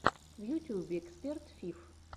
на ютьюбе эксперт фиф